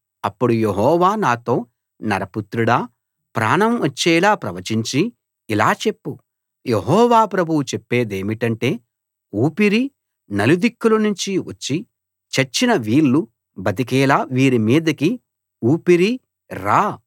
అప్పడు యెహోవా నాతో నరపుత్రుడా ప్రాణం వచ్చేలా ప్రవచించి ఇలా చెప్పు యెహోవా ప్రభువు చెప్పేదేమిటంటే ఊపిరీ నలుదిక్కుల నుంచి వచ్చి చచ్చిన వీళ్ళు బతికేలా వీరి మీదికి ఊపిరీ రా